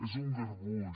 és un garbuix